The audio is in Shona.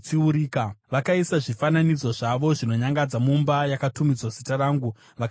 Vakaisa zvifananidzo zvavo zvinonyangadza mumba yakatumidzwa Zita rangu vakaisvibisa.